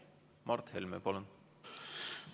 Mart Helme, palun!